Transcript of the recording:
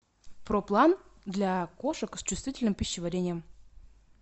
проплан для кошек с чувствительным пищеварением